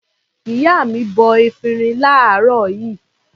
Ìyá mi bọ efirin láàárọ̀ yìí.